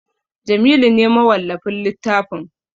Jamilu ne mawallafin littafin